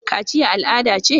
Kachiya al'ada ce?